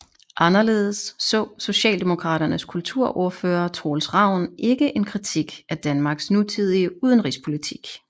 Anderledes så Socialdemokraternes kulturordfører Troels Ravn ikke en kritik af Danmarks nutidige udenrigspolitik